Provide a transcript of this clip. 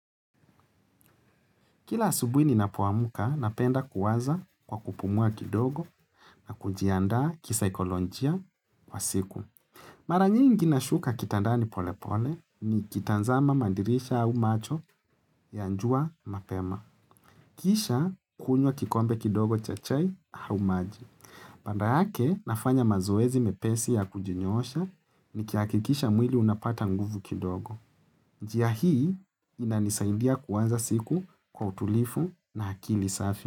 Kila asubuhi ninapo amka napenda kuwaza kwa kupumua kidogo na kujianda kisaikolonjia kwa siku. Mara nyingi nashuka kitandani polepole ni kitanzama madirisha au macho ya jua mapema. Kisha kunywa kikombe kidogo cha chai au maji. Panda yake nafanya mazoezi mepesi ya kujinyoosha nikihakikisha mwili unapata nguvu kidogo. Njia hii inanisaidia kuanza siku kwa utulivu na akili safi.